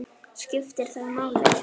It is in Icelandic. skiptir það máli?